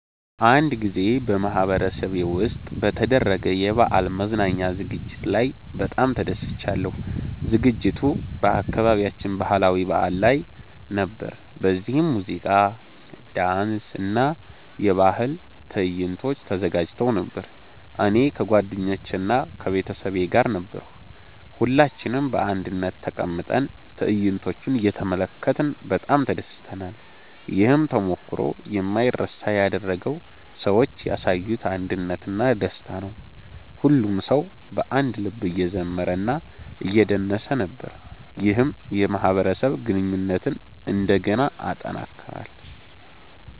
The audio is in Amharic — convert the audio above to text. አንድ ጊዜ በማህበረሰቤ ውስጥ በተደረገ የበዓል መዝናኛ ዝግጅት ላይ በጣም ተደስቻለሁ። ዝግጅቱ በአካባቢያችን ባህላዊ በዓል ላይ ነበር፣ በዚህም ሙዚቃ፣ ዳንስ እና የባህል ትዕይንቶች ተዘጋጅተው ነበር። እኔ ከጓደኞቼ እና ከቤተሰቤ ጋር ነበርሁ። ሁላችንም በአንድነት ተቀምጠን ትዕይንቶቹን እየተመለከትን በጣም ተደስተናል። ይህን ተሞክሮ የማይረሳ ያደረገው ሰዎች ያሳዩት አንድነት እና ደስታ ነው። ሁሉም ሰው በአንድ ልብ እየዘመረ እና እየደነሰ ነበር፣ ይህም የማህበረሰብ ግንኙነትን እንደገና አጠናከረ።